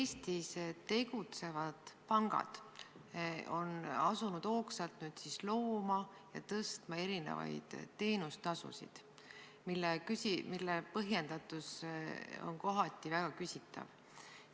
Eestis tegutsevad pangad on asunud nüüd hoogsalt looma ja tõstma erinevaid teenustasusid, mille põhjendatus on kohati väga küsitav.